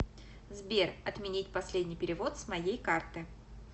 сбер отменить последний перевод с моей карты